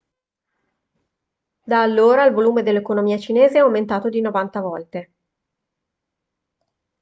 da allora il volume dell'economia cinese è aumentato di 90 volte